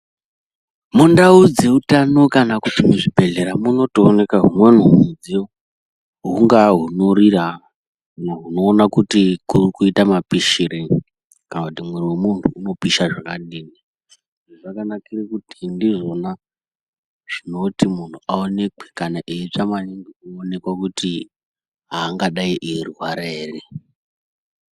Mundau dzeutano kana kuti muzvibhedhlera, munotoonekwa humweni humidziyo, hungava hunorira, hunoona kuti kuri kuyita mapishireyi, kana kuti muviri wemuntu unopisha zvakadini, zvakanakira kuti ndizvona zvinoti muntu awonekwe, kuti kana eyitsva maningi kuonekwa kuti haangadayi eyi rwara ere.